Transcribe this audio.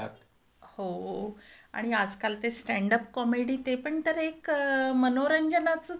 हो. आणि आजकाल ते स्टॅन्डअपकॉमेडी ते पण तर एक मनोरंजनाचंच आहे ना?